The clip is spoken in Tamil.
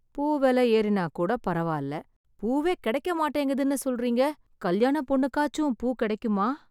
பூ விலை ஏறினா கூட பரவால்ல, பூவே கிடைக்க மாட்டேங்குதுன்னு சொல்றீங்க, கல்யாணப் பொண்ணுக்காச்சு பூ கிடைக்குமா?